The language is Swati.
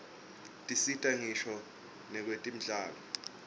tisita ngisho nakwetemidlalo